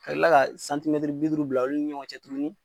Ka kila ka bi duuru bila olu ni ɲɔgɔn cɛ tuguni